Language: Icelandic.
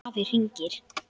Afi hringir